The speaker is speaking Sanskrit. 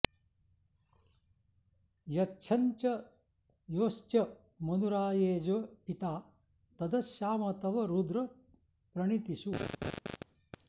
यच्छं च॒ योश्च॒ मनु॑राये॒जे पि॒ता तद॑श्याम॒ तव॑ रुद्र॒ प्रणी॑तिषु